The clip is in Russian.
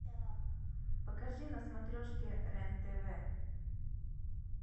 покажи на смотрешке рен тв